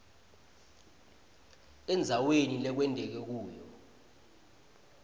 endzaweni lekwenteke kuyo